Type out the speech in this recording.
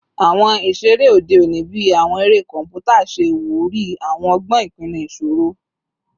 Awọn iṣere ode oni bii awọn ere kọnputa ṣe iwuri awọn ọgbọn ipinnu iṣoro